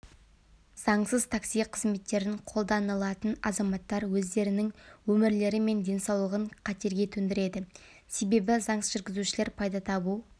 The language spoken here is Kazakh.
заңсыз такси қызметтерін қолданылатын азаматтар өздерінің өмірлері мен денсаулығын қатерге төндіреді себебі заңсыз жүргізушілер пайда табу